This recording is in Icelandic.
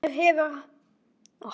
Hvernig hefur þetta gengið Einar?